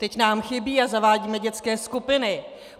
Teď nám chybí a zavádíme dětské skupiny.